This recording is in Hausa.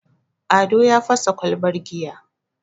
ado ya fasa kwalbar giya